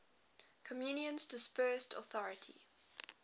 communion's dispersed authority